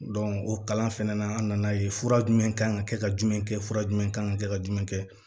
o kalan fɛnɛ na an nana ye fura jumɛn kan ka kɛ ka jumɛn kɛ fura jumɛn kan kɛ ka jumɛn kɛ